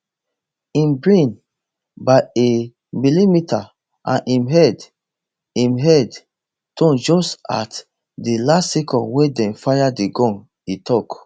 im brain by a millimetre and im head im head turn just at di last second wen dem fire di gun e tok